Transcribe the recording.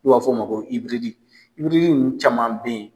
N'u b'a f'ɔ ma ko , ninnu caman be ye